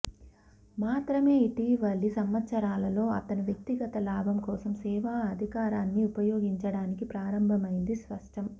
మాత్రమే ఇటీవలి సంవత్సరాలలో అతను వ్యక్తిగత లాభం కోసం సేవా అధికారాన్ని ఉపయోగించడానికి ప్రారంభమైంది స్పష్టం